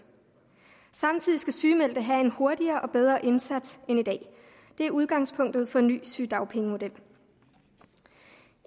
samtidig skal sygemeldte have en hurtigere og bedre indsats end i dag det er udgangspunktet for en ny sygedagpengemodel